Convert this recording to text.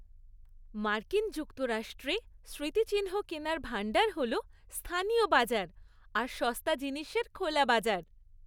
মার্কিন যুক্তরাষ্ট্রে স্মৃতিচিহ্ন কেনার ভাণ্ডার হল স্থানীয় বাজার আর সস্তা জিনিসের খোলা বাজার।